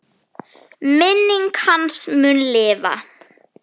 Minning hans mun lifa.